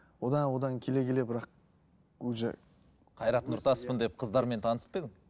одан одан келе келе бірақ уже қайрат нұртаспын деп қыздармен танысып па едің